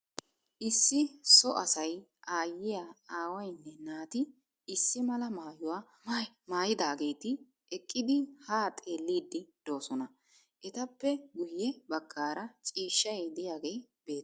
Issi so asay aayyiya, aawayinne naati issi mala maayuwa mayidaageeti eqqidi haa xelliiddi doosona. Etappe guyye baggaara ciishshay diyagee beettes.